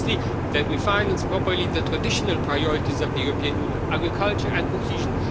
Firstly, that we finance properly the traditional priorities of the European Union agriculture and cohesion.